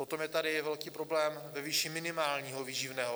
Potom je tady velký problém ve výši minimálního výživného.